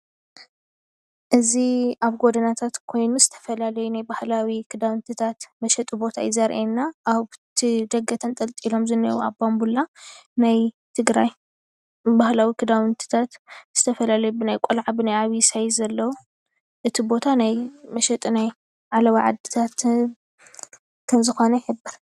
እዚ ኣብ ጎደናታት ኮይኑ ዝተፈላለዮ ናይ ባህላዊ ክዳውንትታት መሸጢ ቦታ እዩ ዘርእየና ኣብቲ ደገ ተንጠልጢሎም ዝኒአው ኣብ ባቡላ ናይ ትግራይ ባህላዊ ክዳውንቲታት ዝተፈላለዩ ብናይ ቀልዓ ብናይ ዓብይ ሳይዝ ኣለው። እቲ ቦታ ናይ መሸጢ ናይ ዓለባ ዓድታት ከም ዝኮነ ይሕብር።